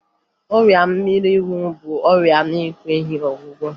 Ọrịa mmịnwụ bụ ọrịa na-enweghi ọgwụgwọ